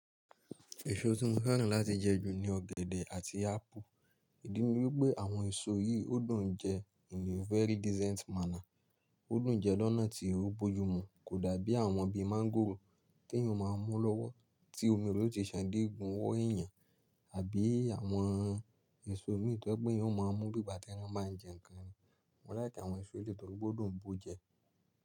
Èso tí mo fẹ́ràn láti jẹ ju ni ọ̀gẹ̀dẹ̀ àti ápù. Ìdí ni wípé àwọn èso yìí ó dùn jẹ in a very decent manner. Ó dùn jẹ lọ́nà tí ó bójú mu kò dàbí àwọn bíi máńgòrò tí èèyàn máa ń mú lọ́wọ́ tí omi re ó ti ṣàn dégun ọ wọ́ èèyàn àbí àwọn èso mìí tó je pe eyan má a mú bí ìgbà tí wọ́n máa ń jẹ́ ǹkan ni. Mo láìkẹ́ àwọn èso ètò tó gbó dùn bó jẹ.